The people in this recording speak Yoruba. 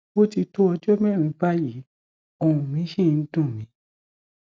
ó ti tó ọjọ mẹrin báyìí ohùn mi ṣì ń dùn mí